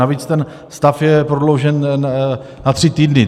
Navíc ten stav je prodloužen na tři týdny.